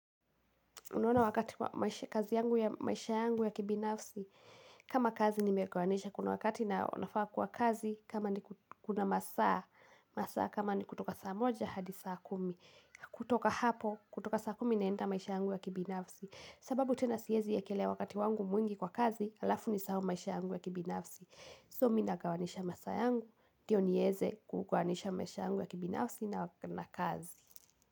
Unaona wakati kazi yangu ya maisha yangu ya kibinafsi, kama kazi nimekwamisha kuna wakati na unafaa kwa kazi, kama ni kuna masaa, masaa kama ni kutoka saa moja hadi saa kumi, kutoka hapo, kutoka saa kumi naenda maisha yangu ya kibinafsi. Sababu tena siwezi weka ile wakati wangu mwingi kwa kazi, alafu nisahau maisha yangu ya kibinafsi. So mi nagawanyisha masaa yangu, ndiyo niweze kuoanisha maisha yangu ya kibinafsi na wakati na kazi.